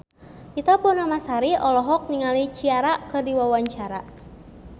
Ita Purnamasari olohok ningali Ciara keur diwawancara